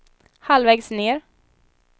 halvvägs ned